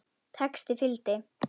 Texti fylgdi.